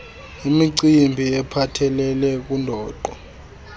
imicimbi ephathelele kundoqo